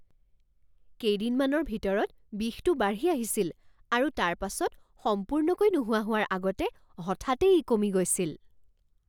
কেইদিনমানৰ ভিতৰত বিষটো বাঢ়ি আহিছিল আৰু তাৰপাছত সম্পূৰ্ণকৈ নোহোৱা হোৱাৰ আগতে হঠাতে ই কমি গৈছিল।